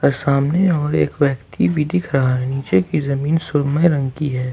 सामने और एक व्यक्ति भी दिख रहा है नीचे की जमीन सुरमई में रंग की है।